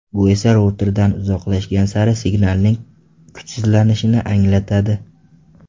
Bu esa routerdan uzoqlashgan sari signalning kuchsizlanishini anglatadi.